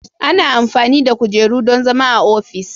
Ana amfani da kujeru don zama a ofis.